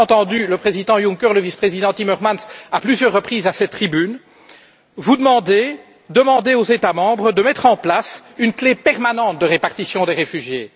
Nous avons entendu le président Juncker, le vice président Timmermans à plusieurs reprises à cette tribune, vous demander, demander aux États membres de mettre en place une clef permanente de répartition des réfugiés.